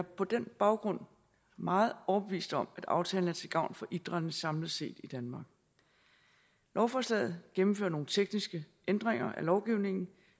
på den baggrund meget overbevist om at aftalen er til gavn for idrætten samlet set i danmark lovforslaget gennemfører nogle tekniske ændringer af lovgivningen